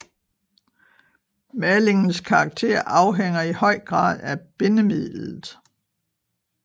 Malingens karakter afhænger i høj grad af bindemidlet